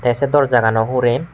te se dorja gano hurey.